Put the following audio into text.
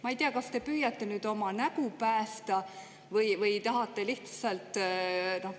Ma ei tea, kas te püüate oma nägu päästa või tahate lihtsalt …